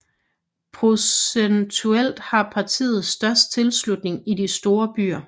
Procentuelt har partiet størst tilslutning i de store byer